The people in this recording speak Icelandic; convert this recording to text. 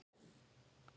Já, líka mömmu